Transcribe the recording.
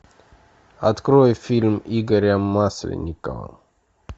открой фильм игоря масленникова